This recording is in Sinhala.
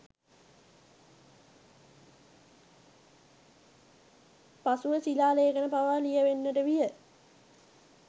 පසුව ශිලා ලේඛන පවා ලියැවෙන්නට විය.